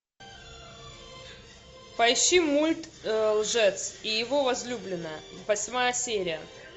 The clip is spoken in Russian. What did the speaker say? поищи мульт лжец и его возлюбленная восьмая серия